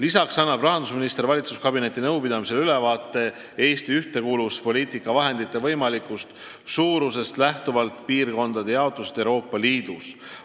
Ka annab rahandusminister valitsuskabineti nõupidamisel ülevaate Eesti ühtekuuluvuspoliitika vahendite võimalikust suurusest lähtuvalt piirkondade jaotusest Euroopa Liidus.